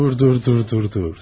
Dur, dur, dur, dur, dur.